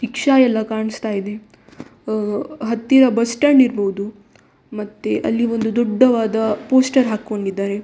Rickshaw ಎಲ್ಲ ಕಾಣಿಸ್ತಾ ಇದೆ ಅಹ್ ಹತ್ತಿರ ಬಸ್‌ ಸ್ಟಾಂಡ್‌ ಇರ್ಬಹುದು ಮತ್ತೆ ಅಲ್ಲಿ ಒಂದು ದೊಡ್ಡವಾದ ಪೋಸ್ಟರ್‌ ಹಾಕೊಂಡಿದ್ದಾರೆ.